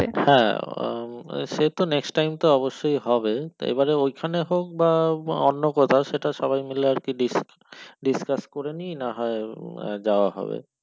হ্যাঁ সে তো next time তো অবশ্যই হবে তো এবারে ওইখানে হোক বা অন্য কোথাও সেটা সবাই মিলে আর কি discuss করে নিয়ে না হয় যাওয়া হবে।